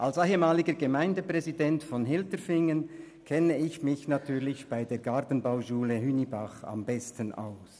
Als ehemaliger Gemeindepräsident von Hilterfingen kenne ich mich mit der Gartenbauschule Hünibach bestens aus.